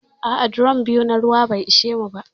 A'a, drom biyu na ruwa bai ishe mu ba.